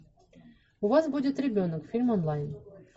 у вас будет ребенок фильм онлайн